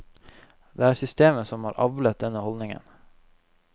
Det er systemet som har avlet denne holdningen.